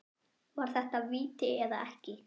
Var þetta víti eða ekki?